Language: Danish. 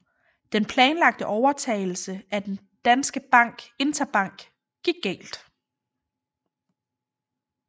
Den planlagte overtagelse af den danske bank Interbank gik galt